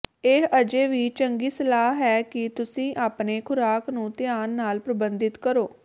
ਇਹ ਅਜੇ ਵੀ ਚੰਗੀ ਸਲਾਹ ਹੈ ਕਿ ਤੁਸੀਂ ਆਪਣੇ ਖੁਰਾਕ ਨੂੰ ਧਿਆਨ ਨਾਲ ਪ੍ਰਬੰਧਿਤ ਕਰੋ